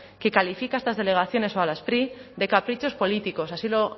que califica estas delegaciones o a la spri de caprichos políticos así lo